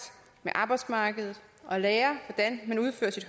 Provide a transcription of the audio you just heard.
med arbejdsmarkedet og lærer hvordan man udfører